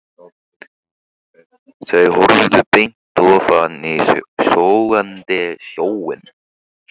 Þeir horfa beint ofan í sogandi sjóinn.